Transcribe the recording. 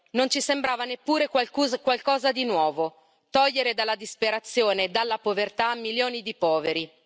Non ci sembrava neppure qualcosa di nuovo, togliere dalla disperazione e dalla povertà milioni di poveri.